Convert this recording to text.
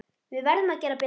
Við verðum að gera betur.